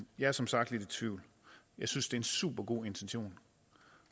jeg er som sagt lidt i tvivl jeg synes det er en supergod intention